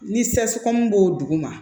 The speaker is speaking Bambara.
Ni b'o dugu ma